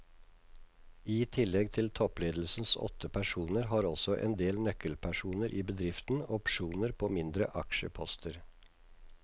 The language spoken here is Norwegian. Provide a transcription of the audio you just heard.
I tillegg til toppledelsens åtte personer har også en del nøkkelpersoner i bedriften opsjoner på mindre aksjeposter.